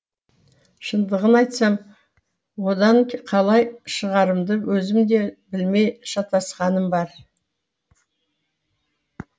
шындығын айтсам одан қалай шығарымды өзім де білмей шатасқаным бар